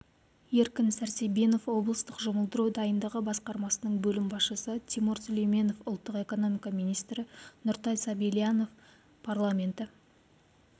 еркін сәрсенбинов облыстық жұмылдыру дайындығы басқармасының бөлім басшысы тимур сүлейменов ұлттық экономика министрі нұртай сабильянов парламенті